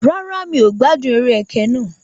Rárá, mi ò gbádùn eré ẹkẹ náà